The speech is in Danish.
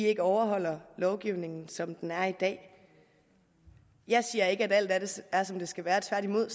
ikke overholder lovgivningen som den er i dag jeg siger ikke at alt er som det skal være tværtimod